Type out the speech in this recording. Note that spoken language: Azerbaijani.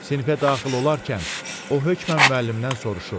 Sinifə daxil olarkən o hökmən müəllimdən soruşur: